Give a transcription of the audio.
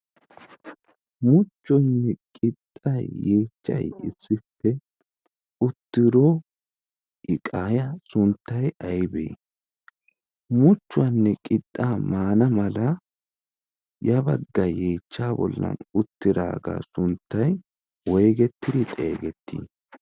muchchuwoanne qixxay yeechchay issippe uttiro iqaaya sunttay aybee muchchuwaanne qixxaa maana mala ya baggai yeechcha bollan uttiraagaa sunttay woygettidi xeegettii?